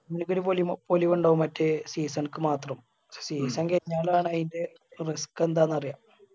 ഇവർക്ക് ഒരു പൊലിമ പൊലിവിണ്ടാകും മറ്റേ season ക്ക് മാത്രം season കൈഞ്ഞാലാണ് അയിന്റെ risk എന്താന്ന് അറിയ